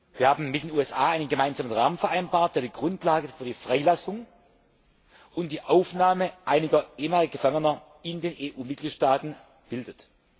Wir haben mit den USA einen gemeinsamen Rahmen vereinbart, der die Grundlage für die Freilassung und die Aufnahme einiger ehemaliger Gefangener in den EU Mitgliedstaaten bildet.